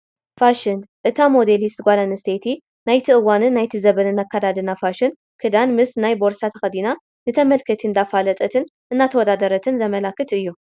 ፋሽን፡- እታ ሞዴሊስት ጓል ኣነስተይቲ ናይቲ እዋንን ናይቲ ዘበንን ኣከዳድና ፋሽን ክዳን ምስ ናይ ቦርሳ ተኸዲና ንተመልከቲ እንዳፋለጠትን እንዳተወዳደረትን ዘመላኽት እዩ፡፡